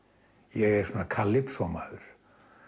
ég er svona calypso maður